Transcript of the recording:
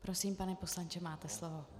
Prosím, pane poslanče, máte slovo.